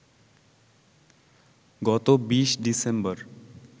গত ২০ ডিসেম্বর